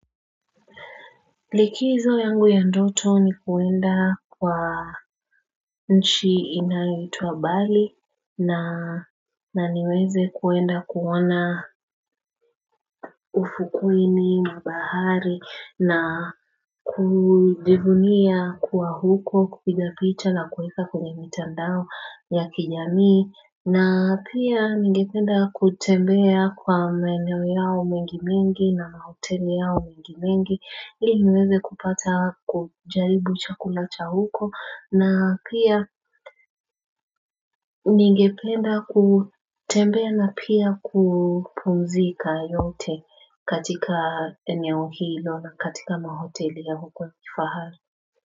Likizo yangu ya ndoto ni kuenda kwa nchi inayitua bali na niweze kuenda kuona ufukuini mbahari na na kudibunia kuwa huko, kukidapicha na kweka kwenye mitandao ya kijamii, na pia ningependa kutembea kwa mweno yao mwingi mingi na mahoteli yao mwingi mingi. Hii niweze kupata kujaribu chakula cha huko, na pia ningependa kutembea na pia kupumzika yote katika eneo hilo na katika mahoteli ya huko kifahari.